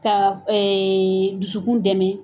Ka dusukun dɛmɛ.